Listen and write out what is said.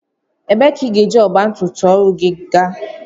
Ebee ka ị ga-eji ọgba tum tum ọhụrụ gị gaa?